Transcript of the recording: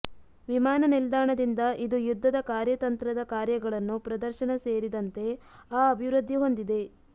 ವಿಮಾನನಿಲ್ದಾಣದಿಂದ ಇದು ಯುದ್ಧದ ಕಾರ್ಯತಂತ್ರದ ಕಾರ್ಯಗಳನ್ನು ಪ್ರದರ್ಶನ ಸೇರಿದಂತೆ ಆ ಅಭಿವೃದ್ಧಿ ಹೊಂದಿದೆ